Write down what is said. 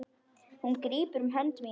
Hún grípur um hönd mína.